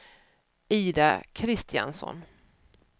Ida Kristiansson